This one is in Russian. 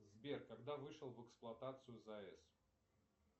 сбер когда вышел в эксплуатацию заэс